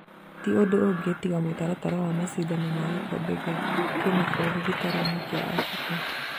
Tiũndũ ungĩ tiga mũtaratara wa macindano ma gĩkombe gĩa kĩmabũrũri gĩtaro-inĩ kĩa Afrika